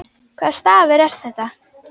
Hvaða stafur er þetta?